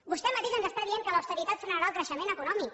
vostè mateix ens diu que l’austeritat frenarà el creixement econòmic